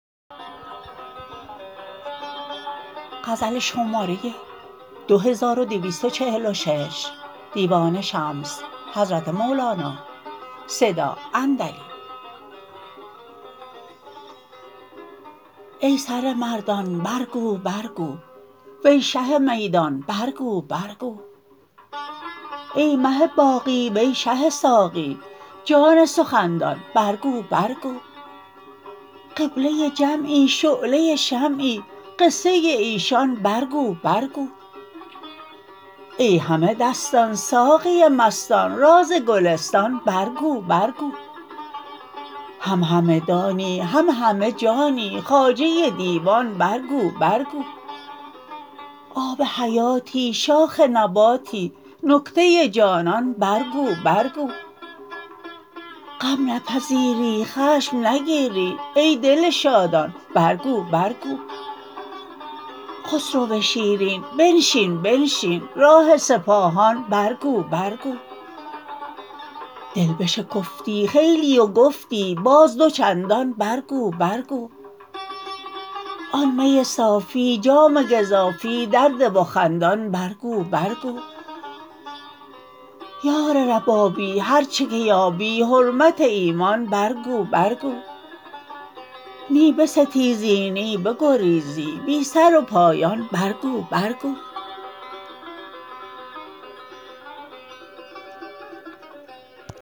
ای سر مردان برگو برگو وی شه میدان برگو برگو ای مه باقی وی شه ساقی جان سخن دان برگو برگو قبله جمعی شعله شمعی قصه ایشان برگو برگو ای همه دستان ساقی مستان راز گلستان برگو برگو هم همه دانی هم همه جانی خواجه دیوان برگو برگو آب حیاتی شاخ نباتی نکته جانان برگو برگو غم نپذیری خشم نگیری ای دل شادان برگو برگو خسرو شیرین بنشین بنشین راه سپاهان برگو برگو دل بشکفتی خیلی و گفتی باز دو چندان برگو برگو آن می صافی جام گزافی درده و خندان برگو برگو یار ربابی هر چه که یابی حرمت ایمان برگو برگو نی بستیزی نی بگریزی بی سر و پایان برگو برگو